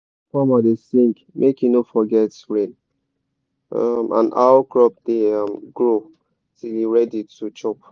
the old farmer da sing make he no forget rain um and how crop da um grow till e ready to chop